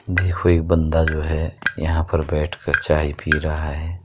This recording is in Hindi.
देखो ये एक बंदा जो है यहाँ पर बैठ कर चाय पी रहा है।